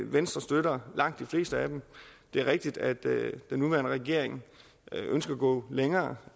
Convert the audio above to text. venstre støtter langt de fleste af dem det er rigtigt at den nuværende regering ønsker at gå længere